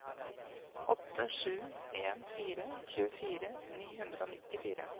åtte sju en fire tjuefire ni hundre og nittifire